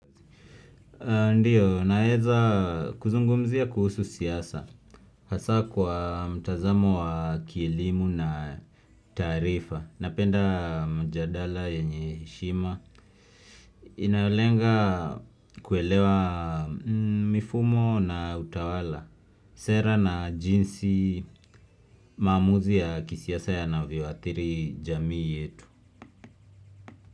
Ndiyo, naweza kuzungumzia kuhusu siasa, hasa kwa mtazamo wa kielimu na taarifa, napenda mjadala yenye heshima, inayolenga kuelewa mifumo na utawala, sera na jinsi maamuzi ya kisiasa yanavyoathiri jamii yetu.